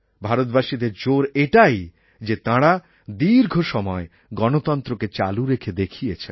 ভারতবাসীদের জোর এটাই যে তাঁরা দীর্ঘসময় গণতন্ত্রকে চালু রেখে দেখিয়েছেন